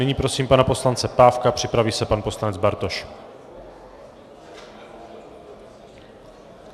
Nyní prosím pana poslance Pávka, připraví se pan poslanec Bartoš.